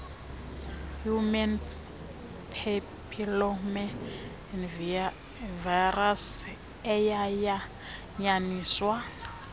human papillomavirus eyayanyaniswa